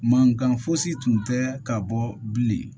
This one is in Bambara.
Mankan fosi tun tɛ ka bɔ bilen